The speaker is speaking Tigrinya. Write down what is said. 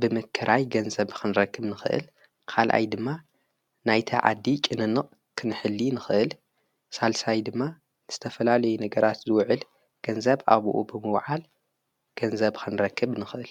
ብምክራይ ገንዘብ ኽንረክብ ንኽእል፡፡ ኻልኣይ ድማ ናይቲ ዓዲ ጭንንቕ ክንሕሊ ንኽእል፡፡ ሳልሳይ ድማ ንዝተፈላለዩ ነገራት ዝውዕል ገንዘብ ኣብኡ ብምውዓል ገንዘብ ኽንረክብ ንኽእል፡፡